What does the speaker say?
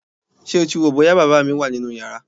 Ṣé o ti wò ó bóyá bàbá mi wà nínú yàrá?